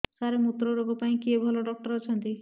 ସାର ମୁତ୍ରରୋଗ ପାଇଁ କିଏ ଭଲ ଡକ୍ଟର ଅଛନ୍ତି